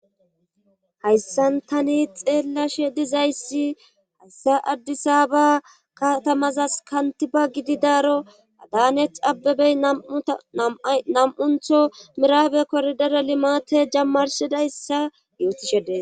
Hayssan tani xeellashe dizayssi hassa addisa ba kaatamazas kantiba gididaaro adaneth abebey nam7untho miraabe kordera limate jammarshidayssa yootishedee.